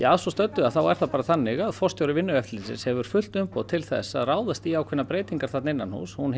að svo stöddu þá er það bara þannig að forstjóri Vinnueftirlitsins hefur fullt umboð til þess að ráðast í ákveðnar breytingar þarna innanhúss hún